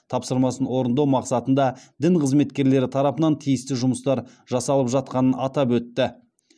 тапсырмасын орындау мақсатында дін қызметкерлері тарапынан тиісті жұмыстар жасалып жатқанын атап өтті